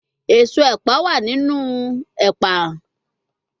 Eso epa wa ninu epa